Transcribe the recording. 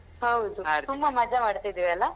ಹೌದು ತುಂಬ ಮಜಾ ಮಾಡ್ತಿದ್ವಿ ಅಲ್ಲಾ.